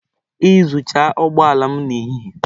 Iyuzucha ụgbọ ala m na ehi ehi.